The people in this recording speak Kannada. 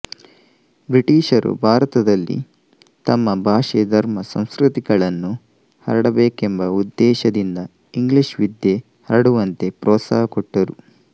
ಬ್ರಿಟಿಷರು ಭಾರತದಲ್ಲಿ ತಮ್ಮ ಭಾಷೆ ಧರ್ಮ ಸಂಸ್ಕೃತಿಗಳನ್ನು ಹರಡಬೇಕೆಂಬ ಉದ್ದೇಶದಿಂದ ಇಂಗ್ಲಿಷ್ ವಿದ್ಯೆ ಹರಡುವಂತೆ ಪ್ರೋತ್ಸಾಹ ಕೊಟ್ಟರು